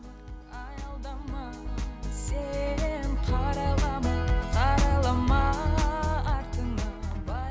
аялдама сен қарайлама қарайлама артыңа